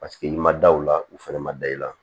Paseke i ma da o la u fɛnɛ ma da i la